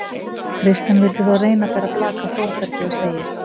Kristján vildi þó reyna að bera blak af Þórbergi og segir: